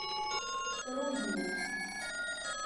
рудней